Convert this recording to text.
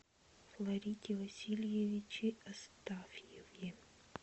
фларите васильевиче астафьеве